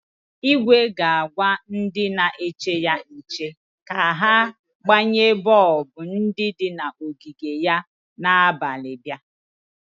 Igwe ga-agwa ndị na-eche ya nche ka ha gbanye bọọbụ ndi di n'ogige ya na abalị bịa.